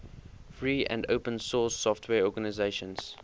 free and open source software organizations